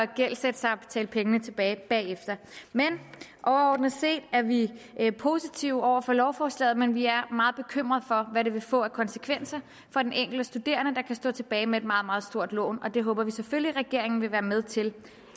gældsætte sig og betale pengene tilbage bagefter overordnet set er vi positive over for lovforslaget men vi er meget bekymrede for hvad det vil få af konsekvenser for den enkelte studerende der kan stå tilbage med et meget meget stort lån og det håber vi selvfølgelig regeringen vil være med til